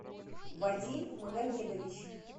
вадим магомедович